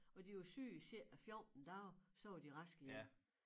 Og de var syge i cirka 14 dage så var de raske igen